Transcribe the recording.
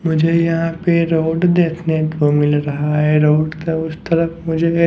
मुझे यहाँ पे रोड देखने को मिल रहा है रोड का उस तरफ मुझे --